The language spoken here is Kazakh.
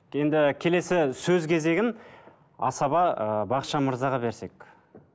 енді келесі сөз кезегін асаба ыыы бақытжан мырзаға берсек